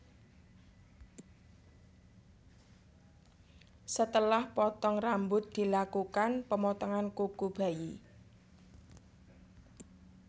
Setelah potong rambut dilakukan pemotongan kuku bayi